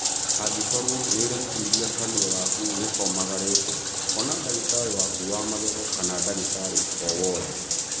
Angĩkorwo nĩũreciria kanua gaku nĩkomagarĩte, ona ndagĩtarĩ waku wa magego kana ndagĩtari o wothe